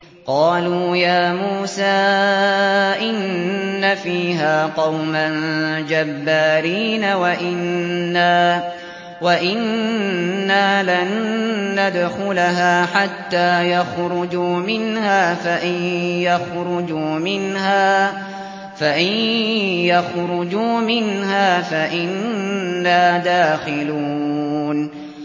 قَالُوا يَا مُوسَىٰ إِنَّ فِيهَا قَوْمًا جَبَّارِينَ وَإِنَّا لَن نَّدْخُلَهَا حَتَّىٰ يَخْرُجُوا مِنْهَا فَإِن يَخْرُجُوا مِنْهَا فَإِنَّا دَاخِلُونَ